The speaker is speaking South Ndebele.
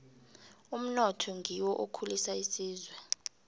umnotho ngiwo okhulisa isizwe